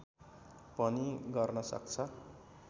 पनि गर्न सक्छ